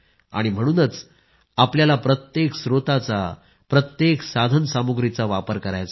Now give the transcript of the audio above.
म्हणूनच आपल्याला प्रत्येक स्त्रोतांचा साधनसामुग्रीचा वापर करायचा आहे